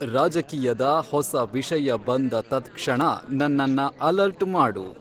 ರಾಜಕೀಯದ ಹೊಸ ವಿಷಯ ಬಂದ ತತ್ ಕ್ಷಣ ನನ್ನನ್ನ ಅಲರ್ಟ್ ಮಾಡು